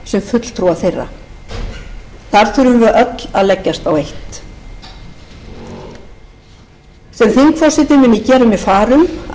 sem fulltrúa þeirra þar þurfum við öll að leggjast á eitt sem þingforseti mun ég gera mér far um að ýtrustu hagkvæmni verði gætt